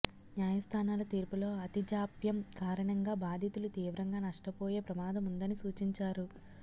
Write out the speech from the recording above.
న్యాయస్థానాల తీర్పులో అతి జాప్యం కారణంగా బాధితులు తీవ్రంగా నష్టపోయే ప్రమాదముందని సూచించారు